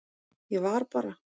Ég var bara.